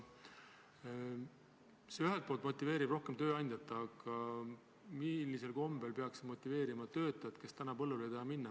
See motiveerib rohkem tööandjat, aga millisel kombel peaks see motiveerima inimest, kes põllule ei taha minna?